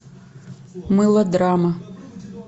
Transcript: мылодрама